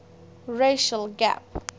racial gap